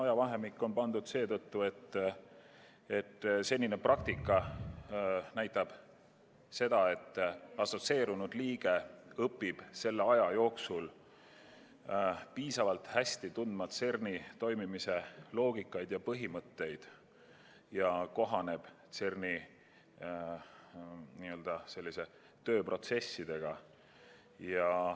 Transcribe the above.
See ajavahemik on pandud, kuna senine praktika on näidanud, et assotsieerunud liige õpib selle aja jooksul piisavalt hästi tundma CERN-i toimimise loogikat ja põhimõtteid ning kohaneb CERN-i tööprotsessidega.